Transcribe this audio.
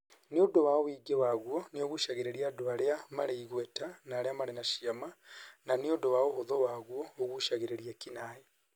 Nĩ ũndũ wa ũingĩ waguo, nĩ ũgucagĩrĩria andũ arĩa marĩ igweta na arĩa marĩ na cĩama; Na nĩ ũndũ wa ũhũthũ waguo, ũgucagĩrĩria eki-naĩ.